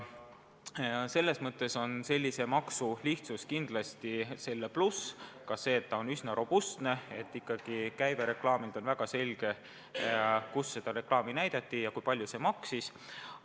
Sellise maksu lihtsus ja robustsus on kindlasti suur pluss – ikkagi käive reklaamilt on väga selge, on teada, kus reklaami näidati ja kui palju see maksis.